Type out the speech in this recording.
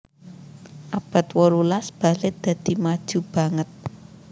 Abad wolulas balèt dadi maju banget